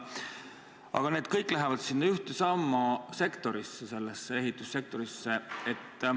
Aga see kõik läheb ühtesamasse sektorisse, ehitussektorisse.